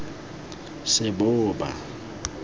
seboba